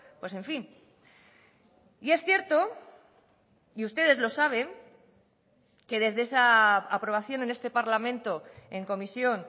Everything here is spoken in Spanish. pues en fin y es cierto y ustedes lo saben que desde esa aprobación en este parlamento en comisión